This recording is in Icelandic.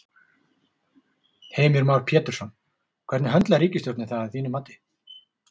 Heimir Már Pétursson: Hvernig höndlar ríkisstjórnin það að þínu mati?